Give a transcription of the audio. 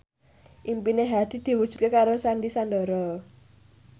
impine Hadi diwujudke karo Sandy Sandoro